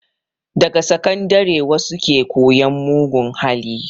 Daga sakandare wasu ke koyan mugun hali